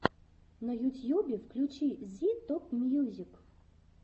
на ютьюбе включи зи топмьюзик